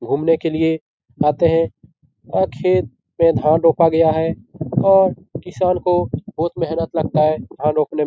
घूमने के लिए आते हैं और खेत पे धान रोपा गया है और किसान को बहुत मेहनत लगता है धान रोपने --